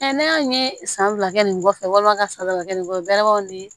ne y'a ye san fila kɛ nin kɔfɛ walima ka san fila kɛ nin kɔfɛ balimaw ni